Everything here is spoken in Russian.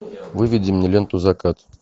выведи мне ленту закат